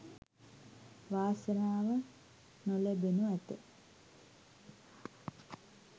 වාසනාව නො ලැබෙනු ඇත.